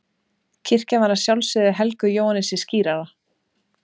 Kirkjan var að sjálfsögðu helguð Jóhannesi skírara.